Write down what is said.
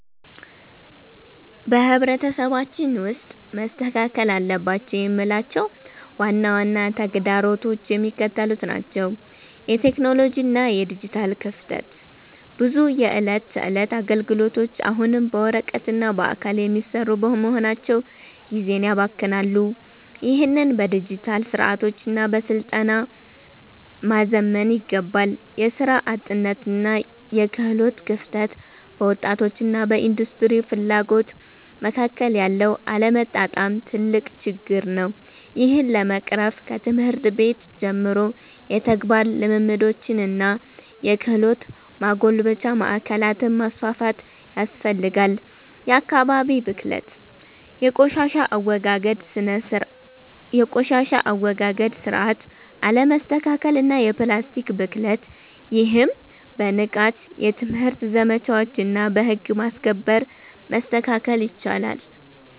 በማህበረሰባችን ውስጥ መስተካከል አለባቸው የምላቸው ዋና ዋና ተግዳሮቶች የሚከተሉት ናቸው የቴክኖሎጂ እና የዲጂታል ክፍተት፦ ብዙ የዕለት ተዕለት አገልግሎቶች አሁንም በወረቀትና በአካል የሚሰሩ በመሆናቸው ጊዜን ያባክናሉ። ይህንን በዲጂታል ስርዓቶችና በስልጠና ማዘመን ይገባል። የሥራ አጥነትና የክህሎት ክፍተት፦ በወጣቶችና በኢንዱስትሪው ፍላጎት መካከል ያለው አለመጣጣም ትልቅ ችግር ነው። ይህን ለመቅረፍ ከትምህርት ቤት ጀምሮ የተግባር ልምምዶችንና የክህሎት ማጎልበቻ ማዕከላትን ማስፋፋት ያስፈልጋል። የአካባቢ ብክለት፦ የቆሻሻ አወጋገድ ስርዓት አለመስተካከልና የፕላስቲክ ብክለት። ይህም በንቃት የትምህርት ዘመቻዎችና በህግ ማስከበር መስተካከል ይችላል።